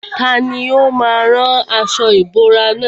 Tani ó má a rán aṣọ ìbora nà?